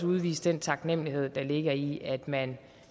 udvise den taknemlighed der ligger i at man